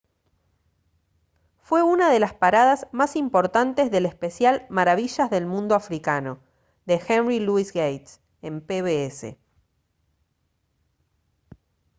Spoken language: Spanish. fue una de las paradas más importantes del especial maravillas del mundo africano de henry louis gates en pbs